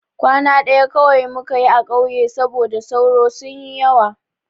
Kwana ɗaya kawai muka yi a ƙauye saboda sauro sun yi yawa.